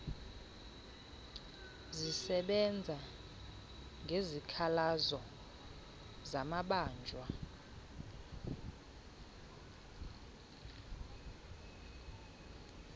zisebenza ngezikhalazo zamabanjwa